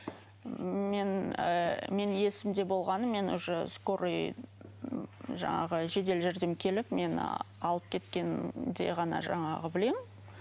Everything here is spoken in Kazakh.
мен ыыы мен есімде болғаны мен уже скорый жаңағы жедел жәрдем келіп мені алып кеткенде ғана жаңағы білемін